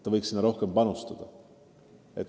Ta võiks sinna rohkem panustada.